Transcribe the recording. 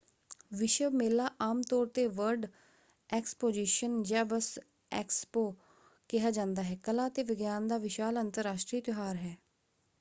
ਵਿਸ਼ਵ ਮੇਲਾ ਆਮ ਤੌਰ 'ਤੇ ਵਰਲਡ ਐਕਸਪੋਜਿਸ਼ਨ ਜਾਂ ਬਸ ਐਕਸਪੋ ਕਿਹਾ ਜਾਂਦਾ ਹੈ ਕਲਾ ਅਤੇ ਵਿਗਿਆਨ ਦਾ ਵਿਸ਼ਾਲ ਅੰਤਰਰਾਸ਼ਟਰੀ ਤਿਉਹਾਰ ਹੈ।